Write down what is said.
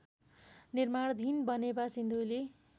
निर्माणाधीन बनेपा सिन्धुली